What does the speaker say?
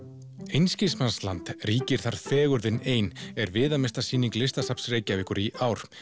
einskismannsland ríkir þar fegurðin ein er viðamesta sýning Listasafns Reykjavíkur í ár